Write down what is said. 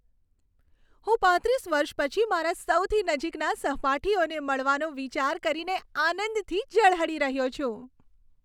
હું પાંત્રીસ વર્ષ પછી મારા સૌથી નજીકના સહપાઠીઓને મળવાનો વિચાર કરીને આનંદથી ઝળહળી રહ્યો છું.